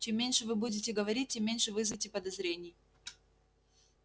чем меньше вы будете говорить тем меньше вызовете подозрений